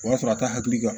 O y'a sɔrɔ a t'a hakili kan